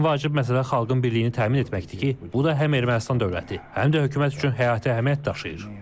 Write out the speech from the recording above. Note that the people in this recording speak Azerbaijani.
Ən vacib məsələ xalqın birliyini təmin etməkdir ki, bu da həm Ermənistan dövləti, həm də hökumət üçün həyati əhəmiyyət daşıyır.